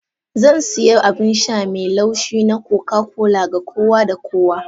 Zan sayi abin sha mai laushi na coca-cola ga kowa da kowa.